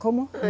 Como?